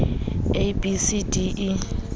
a b c d e